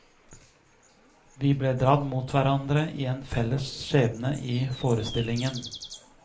Vi ble dradd mot hverandre i en felles skjebne i forestillingen.